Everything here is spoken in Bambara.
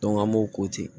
an m'o ko ten